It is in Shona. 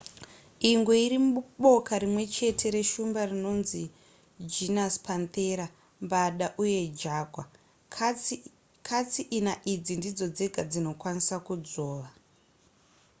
ingwe iri muboka rimwe chete neshumba dzinonzi genus panthera mbada uye jaguar. katsi ina idzi ndidzo dzega dzinokwanisa kudzvova